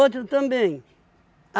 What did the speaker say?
também.